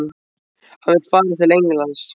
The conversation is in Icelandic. Hann vill fara til Englands?